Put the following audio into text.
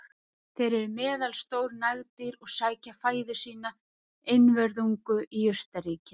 Þeir eru meðalstór nagdýr og sækja fæðu sína einvörðungu í jurtaríkið.